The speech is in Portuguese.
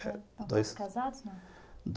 Estão todos casados? não?